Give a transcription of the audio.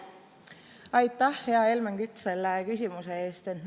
Aitäh, hea Helmen Kütt, selle küsimuse eest!